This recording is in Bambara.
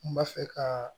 N b'a fɛ ka